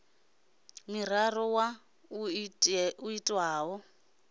muraḓo wa muṱa a itaho